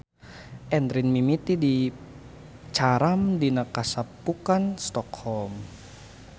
Endrin mimiti dicaram dina Kasapukan Stockholm.